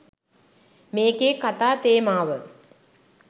මේකේ කතා තේමාව.